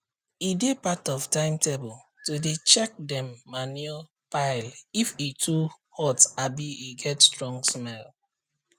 e dey part of timetable to dey check dem manure pileif e too hot abi e get strong smell